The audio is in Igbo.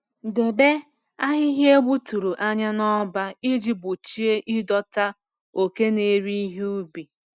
Debe ahịhịa egbuturu anya na-ọba iji gbochie ịdọta oke na-eri ihe ubi.